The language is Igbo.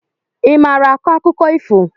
I maara akọ akụkọ ifo?